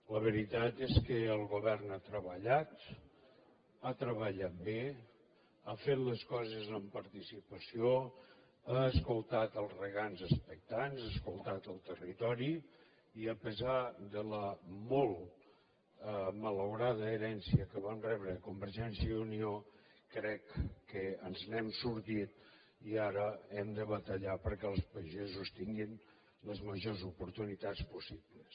la veritat és que el govern ha treballat ha treballat bé ha fet les coses amb participació ha escoltat els regants expectants ha escoltat el territori i a pesar de la molt malaurada herència que vam rebre de convergència i unió crec que ens n’hem sortit i ara hem de batallar perquè els pagesos tinguin les majors oportunitats possibles